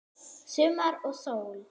Sumar og sól.